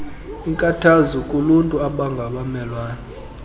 inkathazo kuluntu abangabamelwane